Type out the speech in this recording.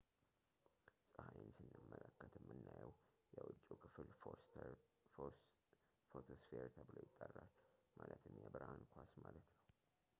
ፀሐይን ስንመለከት የምናየው የውጭው ክፍል ፎቶስፌር ተብሎ ይጠራል ፣ ማለትም የብርሃን ኳስ” ማለት ነው